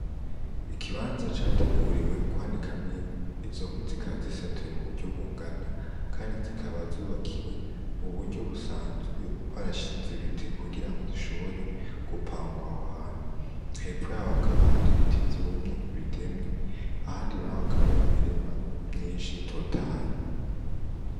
Ikibanza categuriwe kwanikamwo inkwi, izo nkwi zikaba zisatuye mu buryo bungana, kandi zikaba zubakiwe mu buryo busanzwe, barashinze ibiti kugira hashobora gupangwa aho hantu, hepfo yaho hakaba hari ibiti vyumye bitemye, ahandi hakaba hari imirima myinshi itotahaye.